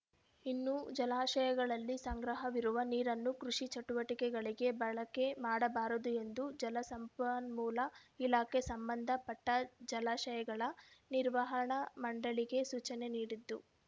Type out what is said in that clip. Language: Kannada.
ಇನ್ನು ಜಲಾಶಯಗಳಲ್ಲಿ ಸಂಗ್ರಹವಿರುವ ನೀರನ್ನು ಕೃಷಿ ಚಟುವಟಿಕೆಗಳಿಗೆ ಬಳಕೆ ಮಾಡಬಾರದು ಎಂದು ಜಲಸಂಪನ್ಮೂಲ ಇಲಾಖೆ ಸಂಬಂಧ ಪಟ್ಟಜಲಾಶಯಗಳ ನಿರ್ವಹಣಾ ಮಂಡಳಿಗೆ ಸೂಚನೆ ನೀಡಿದ್ದು